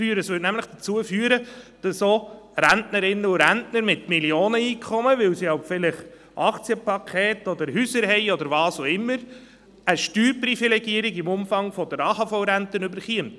Sie führte nämlich dazu, dass auch Rentnerinnen und Rentner mit Millionen an Einkommen, weil sie vielleicht Aktienpakete oder Häuser haben, oder was auch immer, eine Steuerprivilegierung im Umfang der AHV-Rente erhielten.